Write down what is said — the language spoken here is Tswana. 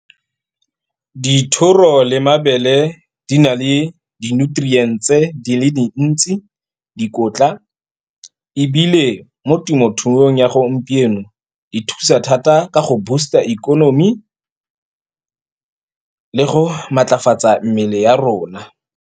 Dithoro le mabele di na le di-nutrients-tse di le dintsi. Dikotla ebile, mo temothuong ya gompieno di thusa thata ka go boost-a ikonomi, le go maatlafatsa mmele ya rona.